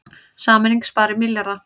Sameining spari milljarða